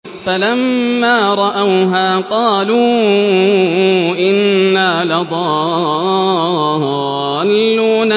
فَلَمَّا رَأَوْهَا قَالُوا إِنَّا لَضَالُّونَ